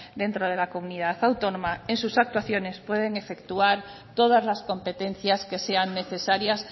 dentro de la comunidad autónoma en sus actuaciones pueden efectuar todas las competencias que sean necesarias